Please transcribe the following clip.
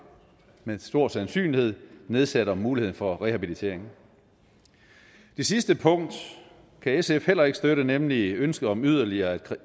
med stor sandsynlighed nedsætter muligheden for rehabilitering det sidste punkt kan sf heller ikke støtte nemlig ønsket om yderligere